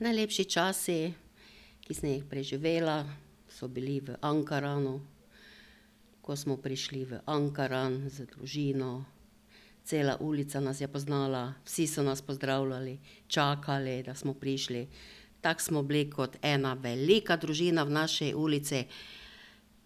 Najlepši časi, ki sem jih preživela, so bili v Ankaranu, ko smo prišli v Ankaran z družino. Cela ulica nas je poznala, vsi so nas pozdravljali, čakali, da smo prišli. Tako smo bili kot ena velika družina v naši ulici,